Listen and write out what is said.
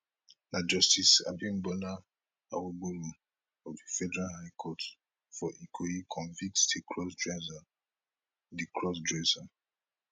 na justice abimbola awogboro of di federal high court for ikoyi convict di crossdresser di crossdresser